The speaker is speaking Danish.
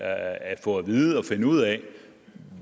at få at vide og finde ud af